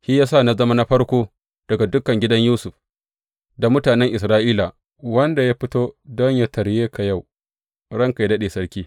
Shi ya sa na zama na farko daga dukan Gidan Yusuf, da mutanen Isra’ila wanda ya fito don yă tarye ka yau, ranka yă daɗe, sarki.